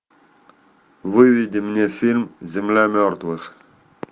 выведи мне фильм земля мертвых